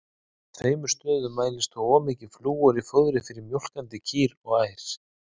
Á tveimur stöðum mælist þó of mikið flúor í fóðri fyrir mjólkandi kýr og ær.